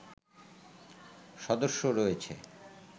সদস্য রয়েছে